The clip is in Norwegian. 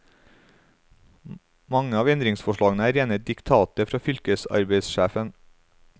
Mange av endringsforslagene er rene diktater fra fylkesarbeidssjefene.